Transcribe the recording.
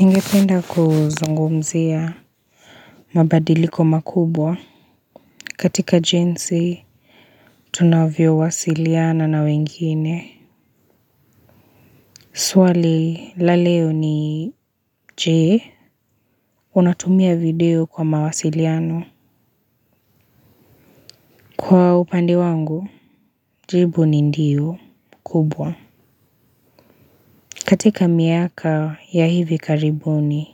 Ningependa kuzungumzia mabadiliko makubwa katika jinsi tunavyowasiliana na wengine. Swali la leo ni je, unatumia video kwa mawasiliano. Kwa upande wangu, jibu ni ndiyo kubwa. Katika miaka ya hivi karibuni,